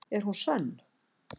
Er hún sönn?